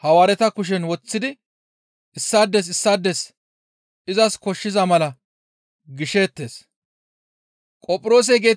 Hawaareta kushen woththidi issaades issaades izas koshshiza mala gisheettes. Ayhudata miishshinne Oroometa miish